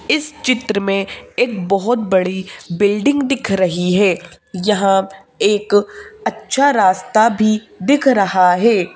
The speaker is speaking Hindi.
इस चित्र में एक बहुत बड़ी बिल्डिंग दिख रही है यहाँ एक अच्छा रास्ता भी दिख रहा है।